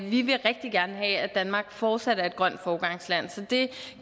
vi vil rigtig gerne have at danmark fortsat er et grønt foregangsland så det